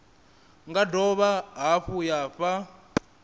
nga dovha hafhu ya fha